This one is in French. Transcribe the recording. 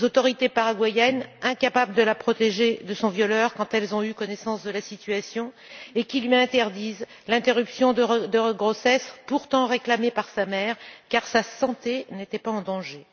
Les autorités paraguayennes, qui ont été incapables de la protéger de son violeur quand elles ont eu connaissance de la situation, lui ont interdit l'interruption de grossesse, pourtant réclamée par sa mère, au motif que sa santé n'était pas en danger.